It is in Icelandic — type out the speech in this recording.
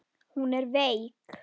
Hún er veik.